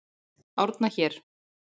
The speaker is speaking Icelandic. Árna hér.